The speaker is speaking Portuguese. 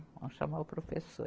Vamos chamar o professor.